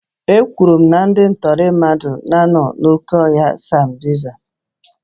E kwuru na ndị ntọrị mmadụ na-anọ n'oke ọhịa sambisa.